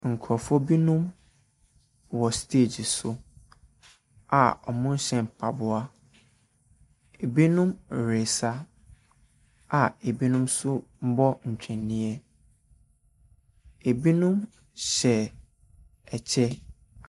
Nkurɔfoɔ bi wɔ stage so a wɔnhyɛ mpaboa. Ebinom resa a ebinom nso rebɔ ntwene. Ebinom hyɛ kyɛ.